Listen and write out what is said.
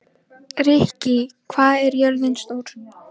Ríkey, hvað er jörðin stór?